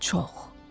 Çox.